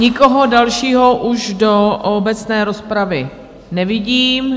Nikoho dalšího už do obecné rozpravy nevidím.